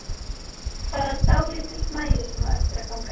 Bara dálítill magi sem á eftir að ganga inn.